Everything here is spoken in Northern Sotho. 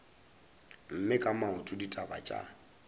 eme ka maoto ditaba tša